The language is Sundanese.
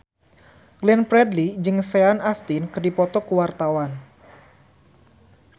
Glenn Fredly jeung Sean Astin keur dipoto ku wartawan